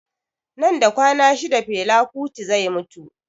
Nan da kwana shida fela kuti zai mutu